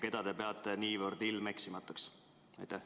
Keda te peate niivõrd ilmeksimatuks?